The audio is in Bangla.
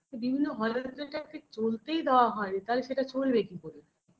বিভিন্ন Hall -এ যেটাকে চলতেই দেওয়া হয়নি তাহলে সেটা চলবে কি করে